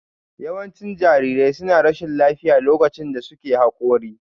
Yawancin jarirai suna rashin lafiya lokacin da suke Haƙori